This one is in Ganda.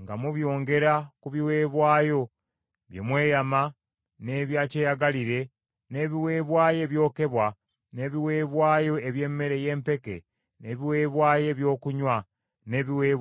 nga mubyongera ku biweebwayo bye mweyama, n’ebya kyeyagalire, n’ebiweebwayo ebyokebwa, n’ebiweebwayo eby’emmere y’empeke, n’ebiweebwayo ebyokunywa n’ebiweebwayo olw’emirembe.”